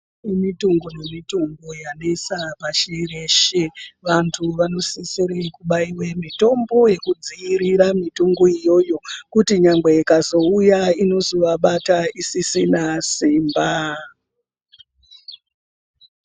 Kune mihlobo yemitombo yanesa basa reshe vantu vanosisira kubaira mitombo vapedza mitombo iyoyo kuti ikazouya vazovabata isisina imba.